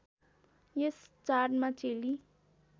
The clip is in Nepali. यस चाडमा चेली